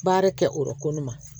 Baara kɛ o yɔrɔ kone ma